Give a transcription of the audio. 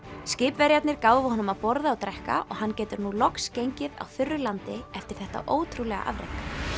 skipverjarnir gáfu honum að borða og drekka og hann getur nú loks gengið á þurru landi eftir þetta ótrúlega afrek